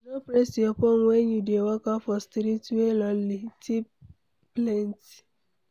No press your phone when you dey waka for street wey lonely, thieves plenty